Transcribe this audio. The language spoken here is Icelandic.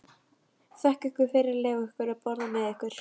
Þakka ykkur fyrir að leyfa okkur að borða með ykkur.